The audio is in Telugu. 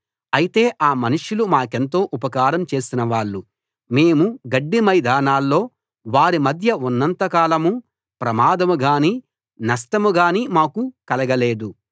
అయితే ఆ మనుష్యులు మాకెంతో ఉపకారం చేసిన వాళ్ళు మేము గడ్డి మైదానాల్లో వారి మధ్య ఉన్నంత కాలమూ ప్రమాదం గానీ నష్టం గాని మాకు కలగలేదు